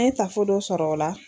An ye taafo dɔ sɔrɔ o la.